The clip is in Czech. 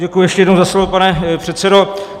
Děkuji ještě jednou za slovo, pane předsedo.